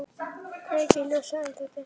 Kveiki ljósið, ennþá dimmt.